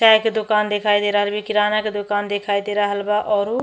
चाय के दुकान दिखाई दे रहल भी। किराना के दुकान दिखाई दे रहल बा औरू --